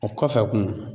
O kɔfɛ kun